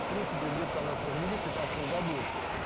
в принципе где-то там нас развели в пятнадцатом году